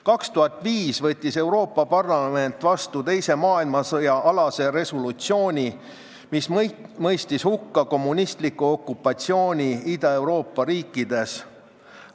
2005. aastal võttis Euroopa Parlament vastu teise maailmasõja alase resolutsiooni, mis mõistis hukka kommunistliku okupatsiooni Ida-Euroopa riikides.